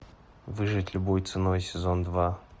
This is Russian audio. выжить любой ценой сезон два